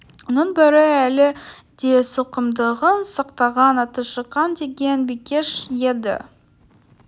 оның бірі әлі де сылқымдығын сақтаған аты шыққан деген бикеш еді